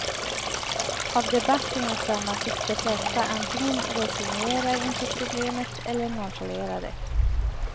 Av debatten att döma tycks de flesta antingen resignera inför problemet, eller nonchalera det.